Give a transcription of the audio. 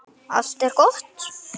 Allt er gott.